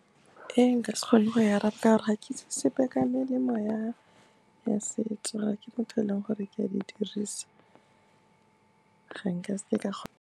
E nka se kgone go e araba ka gore ga ke itse sepe ka melemo ya setso, ga ke motho o e leng gore ke a di dirisa, ga nka seke ka .